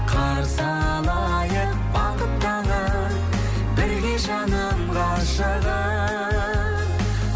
қарсы алайық бақыт таңын бірге жаным ғашығым